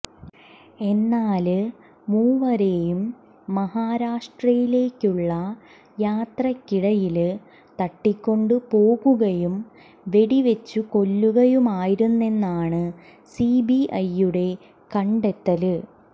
എന്നാല് മൂവരേയും മഹാരാഷ്ട്രയിലേക്കുള്ള യാത്രയ്ക്കിടയില് തട്ടിക്കൊണ്ടു പോകുകയും വെടിവെച്ചു കൊല്ലുകയുമായിരുന്നെന്നാണ് സിബിഐ യുടെ കണ്ടെത്തല്